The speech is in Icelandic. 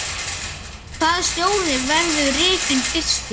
Hvaða stjóri verður rekinn fyrstur?